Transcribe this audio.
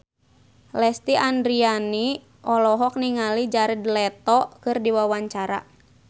Lesti Andryani olohok ningali Jared Leto keur diwawancara